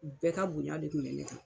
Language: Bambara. U bɛɛ ka bonya de kun bɛ ne kan.